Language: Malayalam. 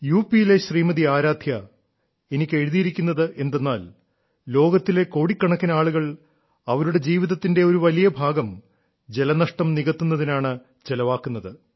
യു പിയിലെ ശ്രീമതി ആരാധ്യ എനിക്ക് എഴുതിയിരിക്കുന്നത് എന്തെന്നാൽ ലോകത്തിലെ കോടിക്കണക്കിന് ആളുകൾ അവരുടെ ജീവിതത്തിന്റെ ഒരു വലിയ ഭാഗം ജലനഷ്ടം നികത്തുന്നതിനാണ് ചെലവാക്കുന്നത്